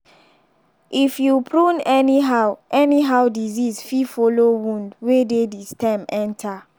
if you prune anyhow anyhow disease fit follow wound wey dey the stem enter.